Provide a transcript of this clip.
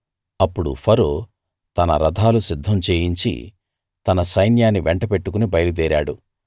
అప్పుడు ఫరో తన రథాలు సిద్ధం చేయించి తన సైన్యాన్ని వెంట బెట్టుకుని బయలుదేరాడు